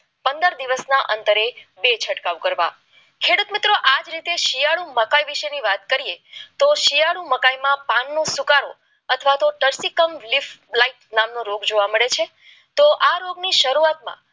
અંતરે બે છંટકાવ કરવા આ જ રીતે શિયાળો મકર વિશેની વાત કરીએ તો શિયાળુ મકાનમાં પાનનો સ્વીકારો અથવા તો ધરતીકંપપ લાઈટ નામનો જોવા મળે છે તો આ રોગની શરૂઆતમાં